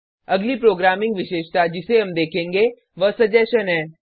अगली प्रोग्रामिंग विशेषता जिसे हम देखेंगे वह सजेशन सजेशन है